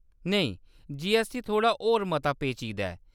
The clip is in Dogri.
नेईं, जीऐस्सटी थोह्‌ड़ा होर मता पेचीदा ऐ।